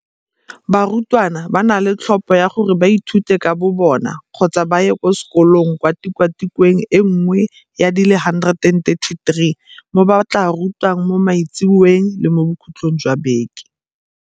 Barutwana ba na le tlhopho ya gore ba ithute ka bobona kgotsa ba ye sekolong kwa tikwatikweng e nngwe ya di le 133 mo ba tla rutiwang mo maitseboeng le mo bokhutlhong jwa beke.